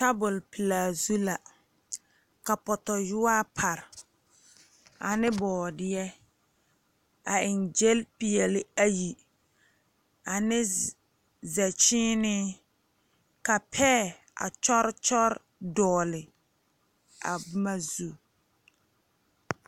Tabol pelaa zu la ka pɔtoɔyɔa pare ane boɔdiyɛ a eŋ gyile peɛle ayi ane zɛkyiine ka pɛɛ a kyɔre kyɔre dogle a boma zu.